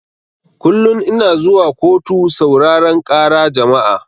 Kullun ina zuwa kotu sauraran ƙara jama'a